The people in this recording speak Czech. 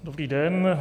Dobrý den.